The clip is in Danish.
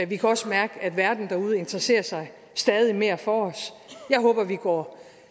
vi kan også mærke at verden derude interesserer sig stadig mere for os jeg håber vi går